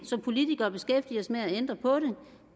som politikere beskæftige os med at ændre på det